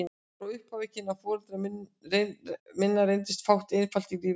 Frá upphafi kynna foreldra minna reyndist fátt einfalt í lífi þeirra.